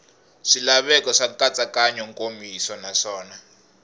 swilaveko swa nkatsakanyo nkomiso naswona